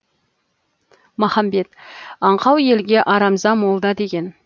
махамбет аңқау елге арамза молда деген